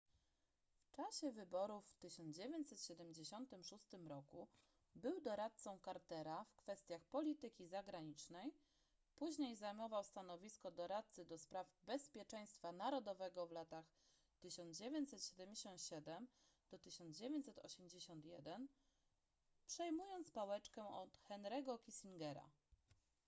w czasie wyborów w 1976 roku był doradcą cartera w kwestiach polityki zagranicznej później zajmował stanowisko doradcy ds bezpieczeństwa narodowego w latach 1977-1981 przejmując pałeczkę od henry'ego kissingera